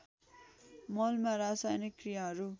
मलमा रासायनिक क्रियाहरू